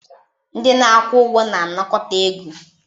Ndị na-akwụ ụgwọ na-anakọta ego.